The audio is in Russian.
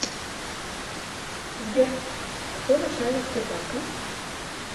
сбер кто начальник сбербанка